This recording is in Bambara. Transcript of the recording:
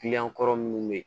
Kiliyan kɔrɔ minnu bɛ yen